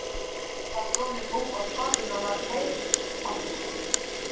Stundin var runnin upp og skotinu var hleypt af.